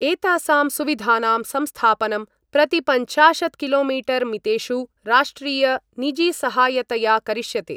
एतासां सुविधानां संस्थापनं प्रतिपञ्चाशत् किलोमीटर्मितेषु राष्ट्रियनिजीसहायतया करिष्यते।